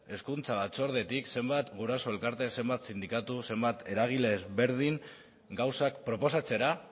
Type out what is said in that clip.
hezkuntza batzordetik zenbat guraso elkarte zenbat sindikatu zenbat eragile ezberdin gauzak proposatzera